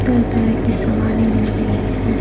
तरह-तरह की सामाने मिल रही है।